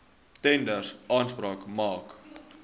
tenders aanspraak maak